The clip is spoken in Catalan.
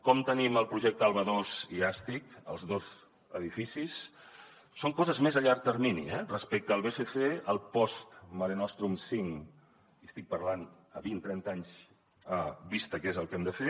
com tenim el projecte alba ii i astip els dos edificis són coses més a llarg termini eh respecte al bsc el post marenostrum cinc i estic parlant a vint trenta anys vista que és el que hem de fer